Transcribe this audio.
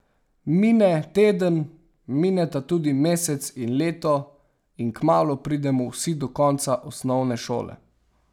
Mine teden, mineta tudi mesec in leto, in kmalu pridemo vsi do konca osnovne šole.